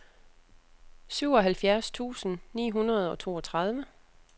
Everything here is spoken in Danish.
syvoghalvfjerds tusind ni hundrede og toogtredive